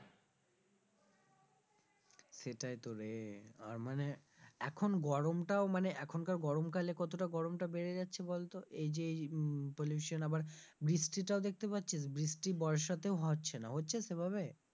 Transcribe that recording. সেটাই তো রে আর মানে এখন গরম টাও মানে এখন কার গরম কালে কতটা গরম টা বেড়ে যাচ্ছে বলতো এই যে এই উম pollution আবার বৃষ্টি টাও দেখতে পাচ্ছিস? বৃষ্টি বর্ষাতেও হচ্ছে না, হচ্ছে সেভাবে?